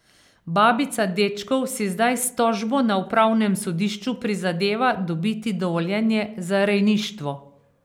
Babica dečkov si zdaj s tožbo na upravnem sodišču prizadeva dobiti dovoljenje za rejništvo.